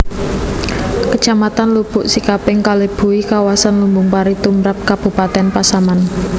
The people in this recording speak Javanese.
Kecamatan Lubuk Sikaping kalebui kawasan lumbung pari tumrap kabupatèn Pasaman